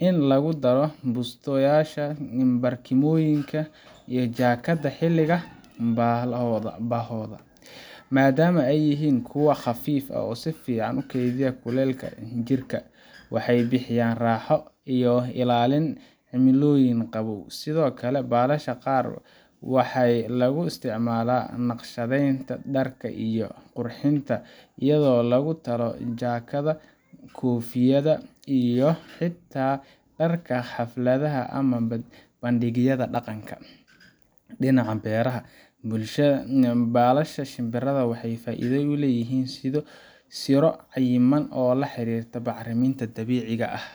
in lagudaro bustayasha ii barkimaha iyo jakada xiliga bahodha, madama ey yihin kuwa qafif ahh oo sifican ukeydiya kulelka jirka, waxey bixiyan raxoo iyo ilalin cimiloyin qabow, sidho kale balasha qar waxa laguisticmala naqshadeynta darka iyo qurxinta iyadho lagutalo jakedhaha, kofiyaha iyo hita darka xafladhah amah bandigyadha daqanka, dinaca beraha balasha shinbiraha waxey faidho uleyihin sidha siro cayiman oo laxirirta bacriminta dabiciga ahh.